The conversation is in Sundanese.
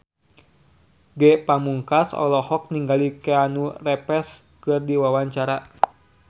Ge Pamungkas olohok ningali Keanu Reeves keur diwawancara